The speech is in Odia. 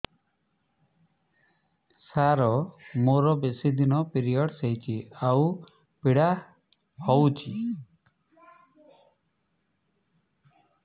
ସାର ମୋର ବେଶୀ ଦିନ ପିରୀଅଡ଼ସ ହଉଚି ଆଉ ପୀଡା ହଉଚି